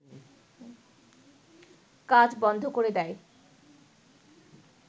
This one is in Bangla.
কাজ বন্ধ করে দেয়